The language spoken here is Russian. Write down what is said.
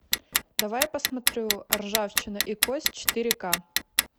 давай я посмотрю ржавчина и кость четыре ка